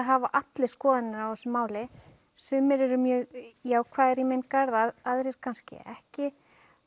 hafa allir skoðanir á þessu máli sumir eru mjög jákvæðir í minn garð aðrir kannski ekki